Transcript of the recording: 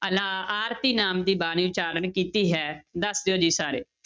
ਅਲਾ~ ਆਰਤੀ ਨਾਮ ਦੀ ਬਾਣੀ ਉਚਾਰਨ ਕੀਤੀ ਹੈ, ਦੱਸ ਦਿਓ ਜੀ ਸਾਰੇ।